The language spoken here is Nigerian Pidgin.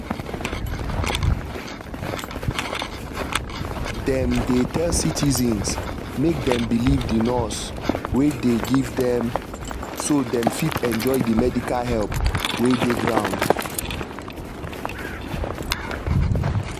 dem dey tell citizens make dem believe di nurse wey dem give dem so dem fit enjoy di medical help wey dey ground